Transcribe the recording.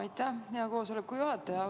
Aitäh, hea istungi juhataja!